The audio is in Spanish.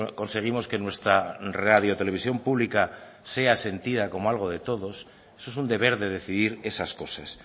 conseguimos que nuestra radio televisión pública sea sentida como algo de todos eso es un deber de decidir esas cosas